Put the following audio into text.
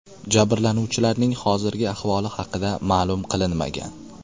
Jabrlanuvchilarning hozirgi ahvoli haqida ma’lum qilinmagan.